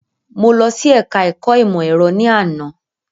Mo lọ sí ẹka ẹ̀kọ́ ìmọ̀ ẹ̀rọ ní àná.